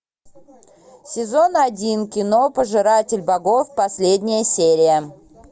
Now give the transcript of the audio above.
сезон один кино пожиратель богов последняя серия